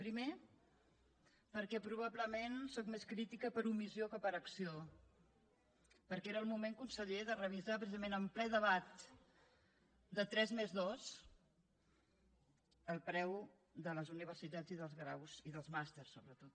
primer perquè probablement sóc més crítica per omissió que per acció perquè era el moment conseller de revisar precisament en ple debat de tres més dos el preu de les universitats i dels graus i dels màsters sobretot